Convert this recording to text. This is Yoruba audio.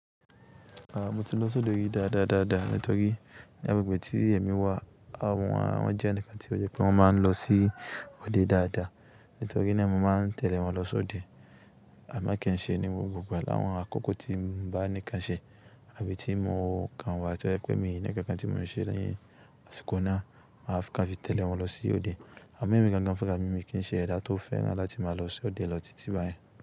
Àá mo ti lọ́ sódo e ri dáadáa dáadáa nítorí ní agbègbè tí èmi wà àwọn wá wọn jẹ́ ẹnìkan tí ó yẹ pé wọ́n máa ń lọ sí òde dáadáa nítorí náà mo máa ń tẹ̀lé wọn lọ sóde àmọ́ kí n ṣe ní gbogbo gba làwọn àkókò tí n bá kan ṣè àbí tí mo kan wá tó jẹ́ pé mi on inkan kan tí mò ń ṣe lẹ́yìn àsìkò náà máa fẹ́ ká fi tẹ̀lé wọn lọ sí òde. Àmọ́ èmi gan gan fúnra mi, mi kí n ṣe ẹda tó fẹ́ràn láti máa lọ sóde lọ títí báyẹn.